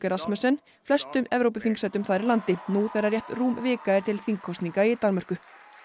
Rasmussen flestum þar í landi nú þegar rétt rúm vika er til þingkosninga í Danmörku